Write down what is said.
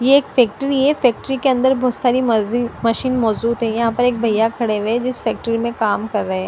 ये एक फैक्ट्री है फैक्ट्री के अंदर बहुत सारी मर्जी मशीन मौजूद है यहां पर एक भैया खड़े हुए जिस फैक्ट्री में काम कर रहे--